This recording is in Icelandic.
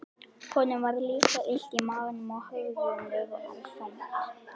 Honum var líka illt í maganum og höfuðið var þungt.